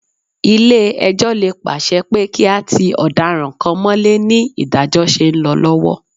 Ilé-ẹjọ́ lè pàsẹ pé kí a ti ọ̀daràn kan mọ́lé ní ìdájọ́ ṣe ń lọ lọ́wọ́